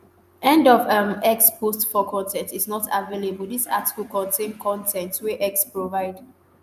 end of um x post 4 con ten t is not available dis article contain con ten t wey x provide.